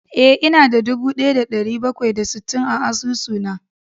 Eh, ina da dubu daya da dari bakwai da sittin a asusuna